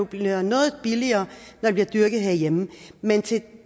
bliver noget billigere når det bliver dyrket hjemme men til